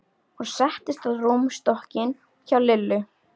Hún settist á rúmstokkinn hjá Lillu.